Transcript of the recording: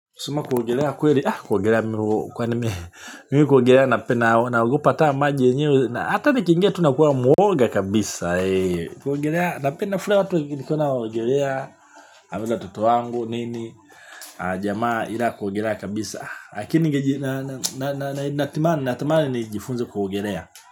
Kusema kuogelea kweli, ah kuogelea, mimi kuogelea, napenda, naogopa hataa maji yenyewe, ata nikiingia tu nakua mwoga kabisa, ee. Kuogelea, napenda, furaha watu wakienda kuogelea, ama na watoto wangu, nini, ah, jamaa, ila kuogelea kabisa, ah. Akiningeji na, na, na, na, na, natamani, natamani nijifunze kuogelea.